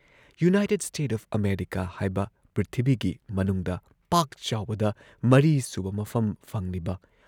United State of America ꯍꯥꯏꯕ, ꯄ꯭ꯔꯤꯊꯤꯕꯤꯒꯤ ꯃꯅꯨꯡꯗ ꯄꯥꯛ ꯆꯥꯎꯕꯗ ꯃꯔꯤꯁꯨꯕ ꯃꯐꯝ ꯐꯪꯂꯤꯕ,